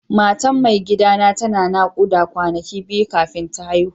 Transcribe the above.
Matan mai gida na tana nakuda kwanaki biyu kafin ta haihu.